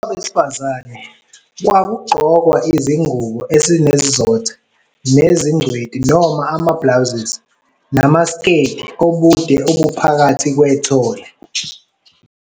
Kwabesifazane, kwakugqokwa izingubo ezinesizotha nezingcweti noma ama-blouses namasiketi obude obuphakathi kwethole.